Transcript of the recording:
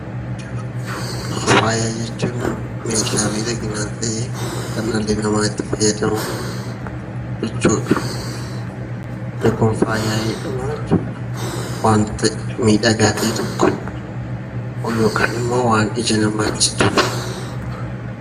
Faaya jechuun meeshaa miidhaginaa ta'ee kan dhalli namaa itti fayyadamu jechuudha. Inni kun faaya jedhama jechuudha. Waantota miidhagaa ta'e tokko yookaan immoo waan ija namaatti tolu.